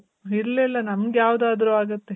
ಇಲ್ಲ ಇಲ್ಲ ನಮ್ಗ್ ಯಾವ್ದಾದ್ರು ಆಗುತ್ತೆ.